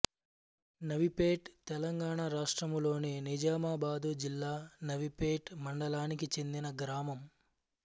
నవీపేట్ తెలంగాణ రాష్ట్రములోని నిజామాబాదు జిల్లా నవీపేట్ మండలానికి చెందిన గ్రామం